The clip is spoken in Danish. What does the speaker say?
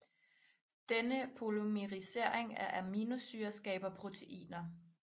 Denne polymerisering af aminosyrer skaber proteiner